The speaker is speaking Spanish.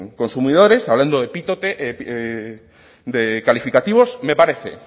consumidores hablando de calificativos me parece